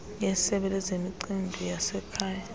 yesebe lezemicimbi yasekhaya